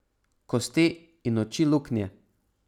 Kosti in oči luknje.